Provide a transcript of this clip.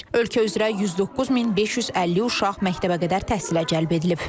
Ölkə üzrə 109550 uşaq məktəbəqədər təhsilə cəlb edilib.